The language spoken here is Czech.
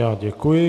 Já děkuji.